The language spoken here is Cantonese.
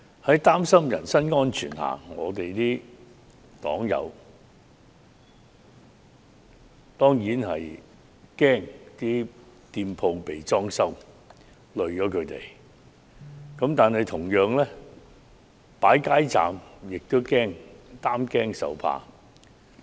在擔心人身安全的情況下，我的黨友當然害怕會連累人家的店鋪被"裝修"了，但同樣地，擺設街站也要擔驚受怕。